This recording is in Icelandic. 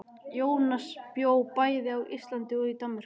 Jónas bjó bæði á Íslandi og í Danmörku.